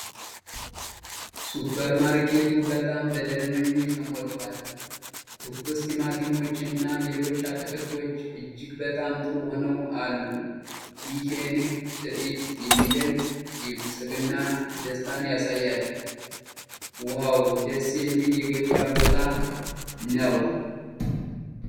ሱፐርማርኬቱ በጣም በደንበኞች ተሞልቷል። ትኩስ ቲማቲሞች እና ሌሎች አትክልቶች እጅግ በጣም ጥሩ ሆነው አሉ። ይህ የንግድ ትርኢት የሚደንቅ የብልፅግና ደስታን ያሳያል። ዋው! ደስ የሚል የገበያ ቦታ ነው።